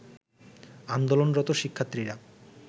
আন্দোলনরত শিক্ষার্থীরা